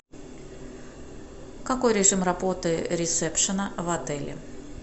какой режим работы ресепшена в отеле